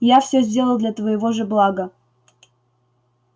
я всё сделал для твоего же блага